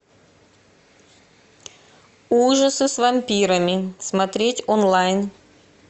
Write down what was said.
ужасы с вампирами смотреть онлайн